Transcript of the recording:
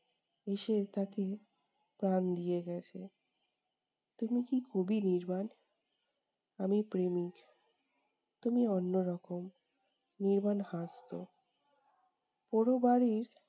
এসে তাকে প্রাণ দিয়ে গেছে। তুমি কি কবি নির্বাণ? আমি প্রেমিক। তুমি অন্যরকম। নির্বাণ হাসতো